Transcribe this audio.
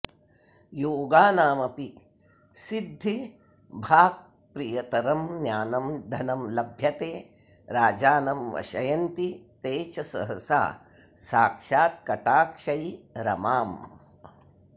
योगानामपि सिद्धिभाक्प्रियतरं ज्ञानं धनं लभ्यते राजानं वशयन्ति ते च सहसा साक्षात् कटाक्षै रमाम्